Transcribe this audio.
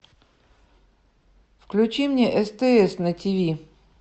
включи мне стс на тв